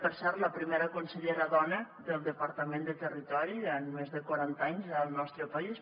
per cert la primera consellera dona del departament de territori en més de quaranta anys al nostre país